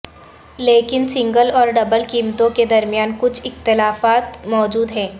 لیکن سنگل اور ڈبل قیمتوں کے درمیان کچھ اختلافات موجود ہیں